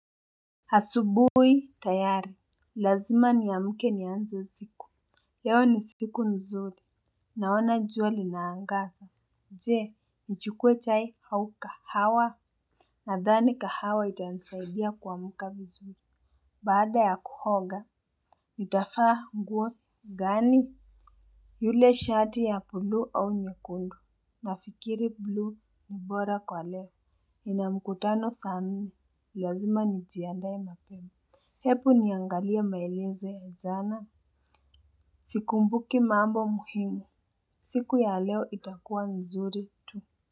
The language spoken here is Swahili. Asubuhi tayari, lazima niamke nianze siku. Leo ni siku nzuri. Naona jua linaangaza. Je, nichukue chai au kahawa? Nadhani kahawa itanisaidia kuamka vizuri. Baada ya kuhoga. Nitafaa nguo gani? Yule shati ya buluu au nyekundu? Nafikiri buluu ni bora kwa leo. Nina mkutano saa nne lazima njiandae mapema. Hebu niangalie maelezo ya jana. Sikumbuki mambo muhimu. Siku ya leo itakuwa mzuri tu.